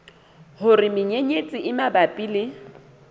hore menyenyetsi e mabapi le